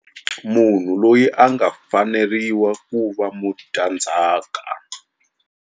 Munhu loyi a nga faneriwa ku va mudyandzhaka.